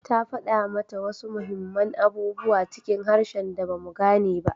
Ta fada mata wasu muhimman abubuwa cikin harshen da ba mu gane ba